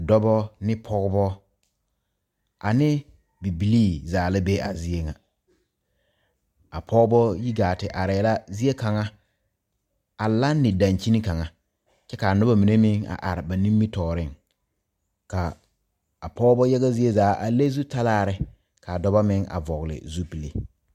Dɔba ne pɔgeba ane bibilii zaa la be a zie ŋa a pɔgeba yi gaa te arɛɛ la zie kaŋa a lanne dankyini kaŋa kyɛ k,a noba mine meŋ are ba nimitɔɔreŋ k,a pɔgeba yaga zie zaa a le zutalaare k,a dɔba meŋ vɔgle zupili.